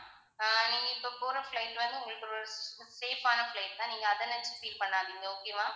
நீங்க இப்போ போற flight வந்து உங்களுக்கு safe ஆன flight தான் நீங்க அதை நினச்சு feel பண்ணாதீங்க okay வா